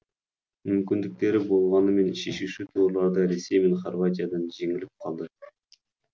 мүмкіндіктері болғанымен шешуші турларда ресей мен хорватиядан жеңіліп қалды